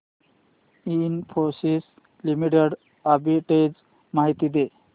Infosys limited arbitrage माहिती दे